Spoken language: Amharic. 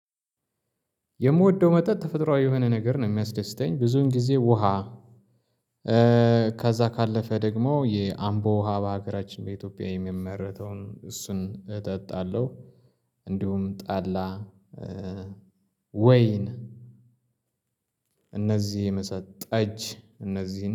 የምወደው መጠጥ ተፈጥሮአዊ የሆነ ነገር ነው የሚያስደስተኝ ብዙን ጊዜ ውሃ። ከዛ ካለፈ ደግሞ የአምቦ ውሃ በሀገራችን በኢትዮጵያ የሚመረተውን እሱን እጠጣለሁ። እንዲሁም ጠላ ወይን እነዚህ የመሳሰሉት ጠጅ እነዚህ